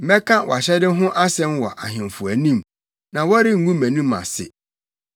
Mɛka wʼahyɛde ho asɛm wɔ ahemfo anim na wɔrengu mʼanim ase,